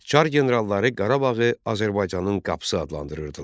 Çar generalları Qarabağı Azərbaycanın qapısı adlandırırdılar.